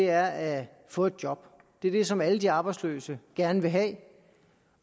er at få et job det er det som alle de arbejdsløse gerne vil have